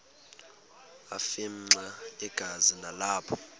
afimxa igazi nalapho